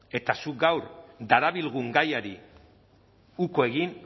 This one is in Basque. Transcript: eta zuk gaur darabilgun gaiari uko egin